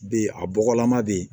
Be a bɔgɔlama be yen